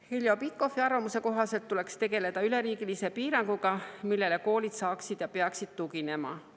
Heljo Pikhofi arvamuse kohaselt tuleks tegeleda üleriigilise piiranguga, millele koolid saaksid tugineda ja peaksid tuginema.